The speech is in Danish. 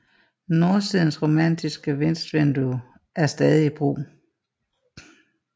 Nordsidens romanske vestvindue er stadig i brug